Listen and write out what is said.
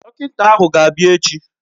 Dọkịnta ahụ ga-abịa echi.